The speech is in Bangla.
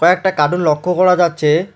একটা কাডুন লক্ষ করা যাচ্ছে।